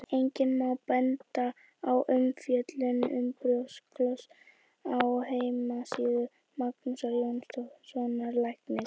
Einnig má benda á umfjöllun um brjósklos á heimasíðu Magnúsar Jóhannssonar læknis.